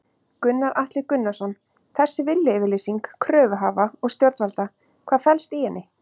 Gunnar Atli Gunnarsson: Þessi viljayfirlýsing kröfuhafa og stjórnvalda, hvað felst í henni?